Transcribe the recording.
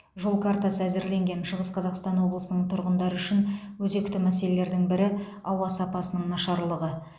жол картасы әзірленген шығыс қазақстан облысының тұрғындары үшін өзекті мәселелердің бірі ауа сапасының нашарлығы